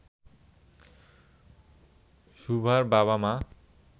সুভার বাবা-মা